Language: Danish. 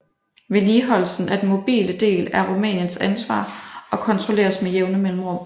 Vedligeholdelsen af den mobile del er Rumæniens ansvar og kontrolleres med jævne mellemrum